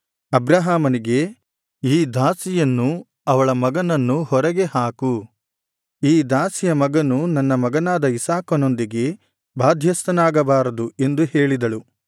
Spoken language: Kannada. ಅಬ್ರಹಾಮನಿಗೆ ಈ ದಾಸಿಯನ್ನೂ ಅವಳ ಮಗನನ್ನೂ ಹೊರಗೆ ಹಾಕು ಈ ದಾಸಿಯ ಮಗನು ನನ್ನ ಮಗನಾದ ಇಸಾಕನೊಂದಿಗೆ ಬಾಧ್ಯಸ್ಥನಾಗಬಾರದು ಎಂದು ಹೇಳಿದಳು